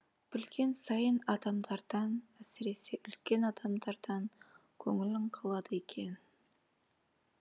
білген сайын адамдардан әсіресе үлкен адамдардан көңілің қалады екен